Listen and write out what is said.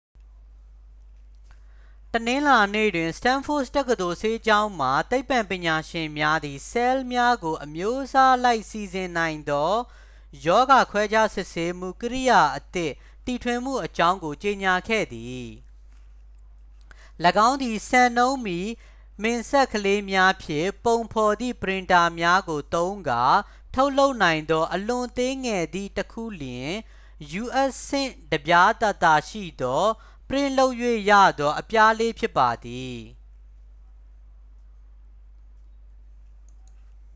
တနင်္လာနေ့တွင် စတန်းဖို့ဒ်တက္ကသိုလ် ဆေးကျောင်းမှ သိပ္ပံပညာရှင်များသည် ဆဲလ်များကို အမျိုးအစားအလိုက် စီစဉ်နိုင်သော ရောဂါခွဲခြားစစ်ဆေးမှု ကိရိယာအသစ် တီထွင်မှုအကြောင်းကို ကြေညာခဲ့သည် ၎င်းသည် စံနှုန်းမီ မင်စက်ကလေးများဖြင့် ပုံဖော်သည့် ပရင်တာများကို သုံးကာ ထုတ်လုပ်နိုင်သော အလွန်သေးငယ်သည့် တစ်ခုလျှင် u.s. ဆင့်တစ်ပြားသာသာရှိသော ပရင့်လုပ်၍ရသော အပြားလေးဖြစ်ပါသည်